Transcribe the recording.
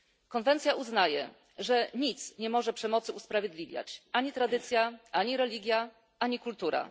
Konwencja uznaje, że nic nie może przemocy usprawiedliwiać ani tradycja, ani religia, ani kultura.